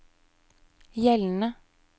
gjeldende